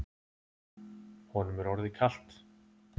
Honum er orðið kalt.